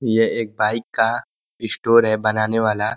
ये एक बाइक का स्टोर है बनाने वाला।